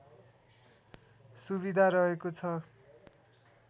सुविधा रहेको छ